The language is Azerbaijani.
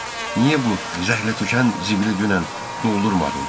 Niyə bu zəhlətökən zibili dünən doldurmadım?